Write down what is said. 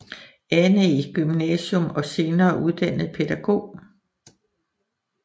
Annæ Gymnasium og senere uddannet pædagog